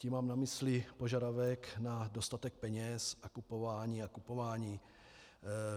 Tím mám na mysli požadavek na dostatek peněz a kupování a kupování.